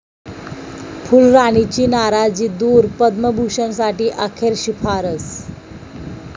फुलराणी'ची नाराजी दूर, 'पद्मभूषण'साठी अखेर शिफारस